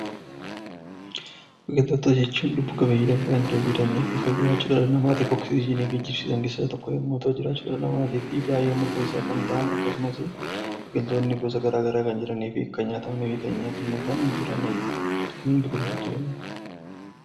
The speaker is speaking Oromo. Biqiltoota jechuun lubbu-qabeeyyii lafa kanarra jiraatan kan jiraachuu dhala namaatiif oksijiinii geejjibsiisan keessaa tokko yommuu ta'u, jiraachuu dhala namaatiif baay'ee murteessoodha. Biqiloonni gosa garaagaraa kan jiranii fi kan nyaatamanii fi kan hin nyaatamnedha.